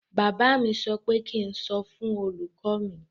Bàbá mi sọ pé kí ń sọ fún olùkọ mi.